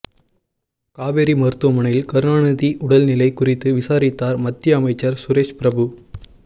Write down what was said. காவேரி மருத்துவமனையில் கருணாநிதி உடல்நிலை குறித்து விசாரித்தார் மத்திய அமைச்சர் சுரேஷ் பிரபு